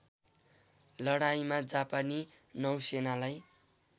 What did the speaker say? लडाईँँमा जापानी नौसेनालाई